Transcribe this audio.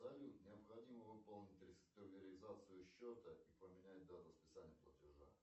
салют необходимо выполнить реструктуризацию счета и поменять дату списания платежа